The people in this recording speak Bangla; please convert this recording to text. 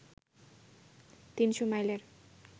তিনশো মাইলের